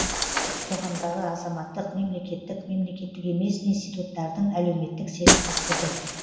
қоғамдағы азаматтық мемлекеттік мемлекттік емес институттардың әлеуметтік серіктестігі